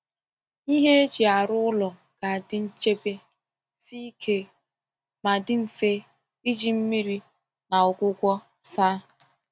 Ihe eji arụ ụlọ ga-adị nchebe, sie ike, ma dị mfe iji mmiri na ọgwụgwọ saa